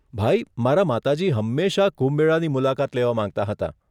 ભાઈ, મારા માતાજી હંમેશા કુંભ મેળાની મુલાકાત લેવા માંગતાં હતાં.